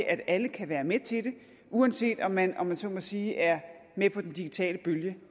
at alle kan være med til det uanset om man om man så må sige er med på den digitale bølge